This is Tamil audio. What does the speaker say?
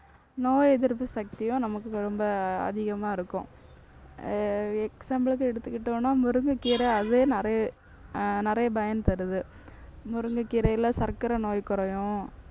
நோய் எதிர்ப்பு சக்தியும் நமக்கு ரொம்ப அதிகமா இருக்கும். அஹ் example க்கு எடுத்துக்கிட்டோம்ன்னா முருங்கைக்கீரை அதே நிறைய அஹ் நிறைய பயன் தருது. முருங்கைக்கீரையில சர்க்கரை நோய் குறையும்.